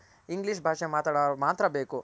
English ಭಾಷೆ ಮಾತಾಡ್ವ್ರ್ ಮಾತ್ರ ಬೇಕು